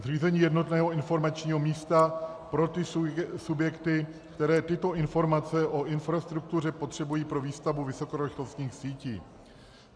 Zřízení jednotného informačního místa pro ty subjekty, které tyto informace o infrastruktuře potřebují pro výstavbu vysokorychlostních sítí.